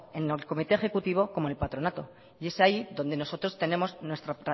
en el comité ejecutivo como el patronato y es ahí donde nosotros tenemos nuestro